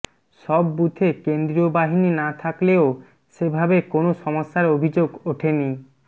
সব বুথে কেন্দ্রীয় বাহিনী না থাকলেও সেভাবে কোনও সমস্যার অভিযোগ ওঠেনি